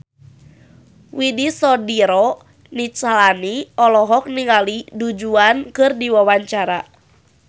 Widy Soediro Nichlany olohok ningali Du Juan keur diwawancara